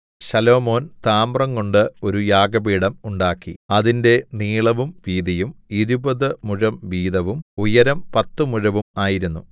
ശലോമോൻ താമ്രംകൊണ്ട് ഒരു യാഗപീഠം ഉണ്ടാക്കി അതിന്റെ നീളവും വീതിയും ഇരുപതു മുഴം വീതവും ഉയരം പത്തു മുഴവും ആയിരുന്നു